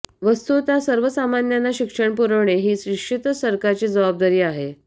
वस्तुतः सर्वसामान्यांना शिक्षण पुरविणे ही निश्चितच सरकारची जबाबदारी आहे